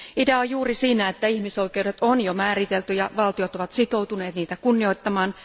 Idea on juuri siinä, että ihmisoikeudet on jo määritelty ja että valtiot ovat sitoutuneet niitä kunnioittamaan.